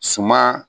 Suma